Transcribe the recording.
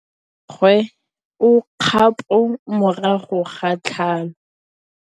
Mmagwe o kgapô morago ga tlhalô.